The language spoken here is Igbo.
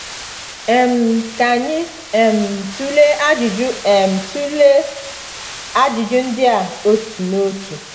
um Ka anyị um tụlee ajụjụ um tụlee ajụjụ ndị a otu n’otu.